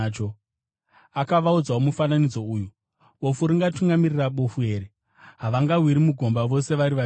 Akavaudzawo mufananidzo uyu: “Bofu ringatungamirira bofu here? Havangawiri mugomba vose vari vaviri here?